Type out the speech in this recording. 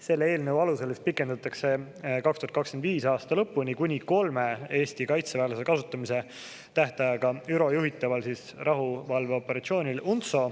Selle eelnõu alusel pikendatakse 2025. aasta lõpuni kuni kolme Eesti kaitseväelase kasutamise tähtaega ÜRO juhitaval rahuvalveoperatsioonil UNTSO.